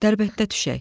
Dərbəndə düşək.